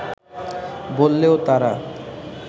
বললেও তারা